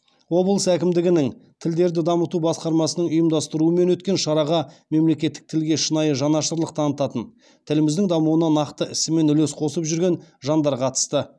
облыс әкімдігінің тілдерді дамыту басқармасының ұйымдастыруымен өткен шараға мемлекеттік тілге шынайы жанашырлық танытатын тіліміздің дамуына нақты ісімен үлес қосып жүрген жандар қатысты